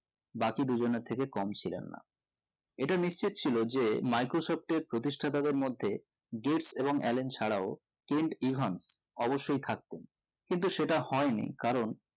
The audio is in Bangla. বাকি দু জনের থেকে কম ছিলেন না এটা নিশ্চিত ছিল যে microsoft এর প্রতিষ্ঠাতা দের মধ্যে ডিস্ক এবং অ্যালেন ছাড়াও কেন্ট ইভান্স অবশ্যই থাকতেন কিন্তু সেটা হয়নি কারণ